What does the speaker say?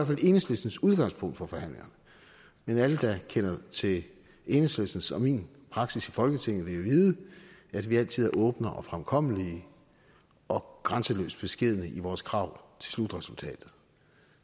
fald enhedslistens udgangspunkt for forhandlingerne men alle der kender til enhedslistens og min praksis i folketinget vil jo vide at vi altid er åbne og fremkommelige og grænseløst beskedne i vores krav til slutresultatet